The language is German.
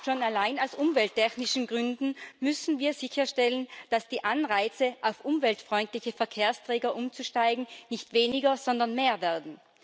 Schon allein aus umwelttechnischen Gründen müssen wir sicherstellen, dass die Anreize, auf umweltfreundliche Verkehrsträger umzusteigen, nicht weniger, sondern mehr werden.